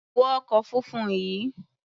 Wọ ọkọ̀ funfun yìí!